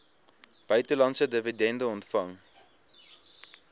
buitelandse dividende ontvang